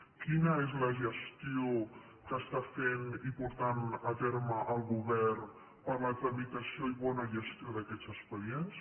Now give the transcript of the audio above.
quina és la gestió que està fent i portant a terme el govern per a la tramitació i bona gestió d’aquests expedients